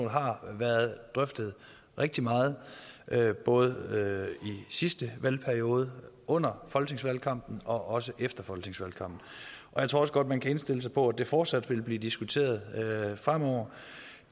har været drøftet rigtig meget både i sidste valgperiode under folketingsvalgkampen og også efter folketingsvalgkampen og jeg tror også godt man kan indstille sig på at det fortsat vil blive diskuteret fremover